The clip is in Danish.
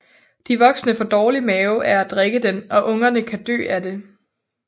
De voksne får dårlig mave af at drikke den og ungerne kan dø af det